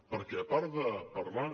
perquè a part de parlar